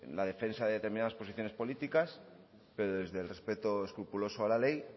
la defensa de determinadas posiciones políticas pero desde el respeto escrupuloso a la ley